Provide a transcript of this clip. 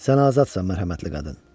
Sən azadsan, mərhəmətli qadın.